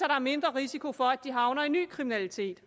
er mindre risiko for at de havner i ny kriminalitet